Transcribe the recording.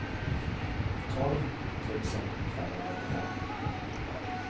tolv tusen femhundraåttiofem